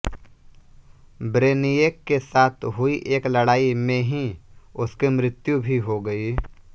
ब्रेनियेक के साथ हुई एक लड़ाई में ही उसकी मृत्यु भी हो गयी